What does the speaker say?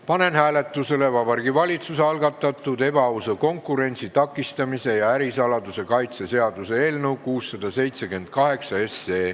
Panen hääletusele Vabariigi Valitsuse algatatud ebaausa konkurentsi takistamise ja ärisaladuse kaitse seaduse eelnõu 678.